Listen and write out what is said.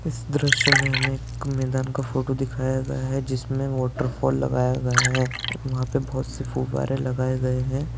इस दृश्य मे हमे एक मैदान का फोटो दिखाया गया है जिसमे वाटरफॉल लगाया गया है वहां पे बहुत से फुव्वारे लगाए गए हैं।